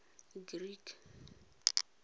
creek